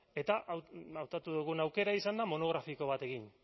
eta hautatu dugun aukera izan da monografiko bat egin